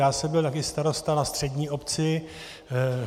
Já jsem byl taky starosta na střední obci.